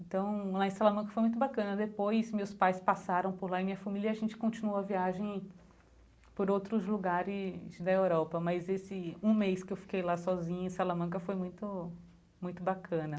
Então lá em Salamanca foi muito bacana, depois meus pais passaram por lá e minha família, e a gente continuou a viagem por outros lugares da Europa, mas esse um mês que eu fiquei lá sozinha em Salamanca foi muito, muito bacana.